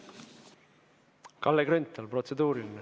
Kalle Grünthal, protseduuriline.